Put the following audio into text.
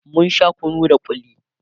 mun Sha kunu da kulli